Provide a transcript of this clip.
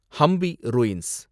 Hampi ruins